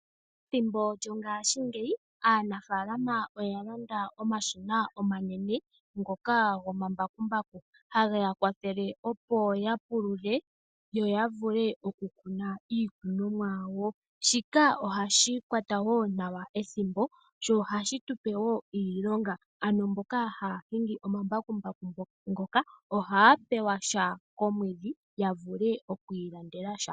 Ethimbo lyongaashingeyi aanafaalama oyalanda omashina omanene ngoka gomambakumbaku, hageya kwathele opo yapulule yo yavule okukuna iikunomwa yawo , shika ohashi kwata woo nawa ethimbo sho ohashi tupe woo iilonga, ano mboka haahingi omambakumbaku ngoka ohaa pewa sha komwedhi yavule okwiilandela sha.